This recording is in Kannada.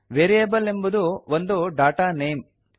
ವೇರಿಯೇಬಲ್ ಎಂಬುದು ಒಂದು ಡಾಟಾ ನೇಮ್